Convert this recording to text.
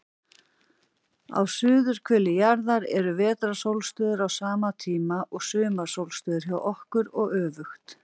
Á suðurhveli jarðar eru vetrarsólstöður á sama tíma og sumarsólstöður hjá okkur, og öfugt.